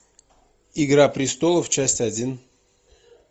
игра престолов часть один